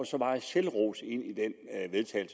så meget selvros ind i det